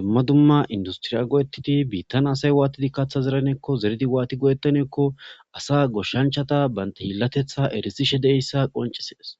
dumma dumma industriya go7etiti biittan asay waatidi kaaththa zeraneekko zeridi waati godettaneekko asa goshshanchata baynta hillatetha erisishe deeyssa qoncisees.